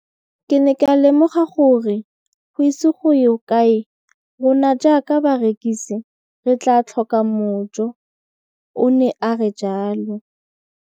Ke ne ka lemoga gore go ise go ye kae rona jaaka barekise re tla tlhoka mojo, o ne a re jalo.